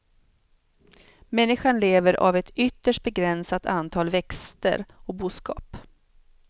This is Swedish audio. Människan lever av ett ytterst begränsat antal växter och boskap.